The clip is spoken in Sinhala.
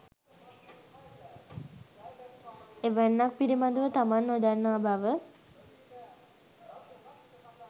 එවැන්නක් පිළිබඳව තමන් නොදන්නා බව